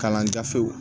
Kalanjafew